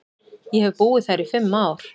Ég hef búið þar í fimm ár.